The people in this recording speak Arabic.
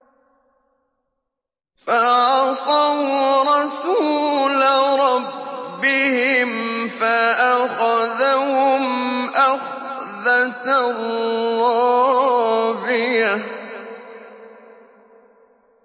فَعَصَوْا رَسُولَ رَبِّهِمْ فَأَخَذَهُمْ أَخْذَةً رَّابِيَةً